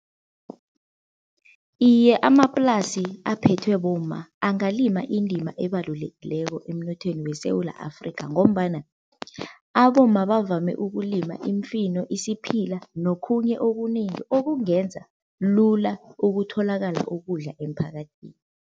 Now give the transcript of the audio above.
Iye amaplasi aphethwe bomma angalima indima ebalulekileko emnothweni weSewula Afrika ngombana abomma bavame ukulima iimfino, isiphila nokhunye okunengi okungenza lula ukutholakala ukudla emphakathini.